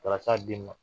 Taara s'a den ma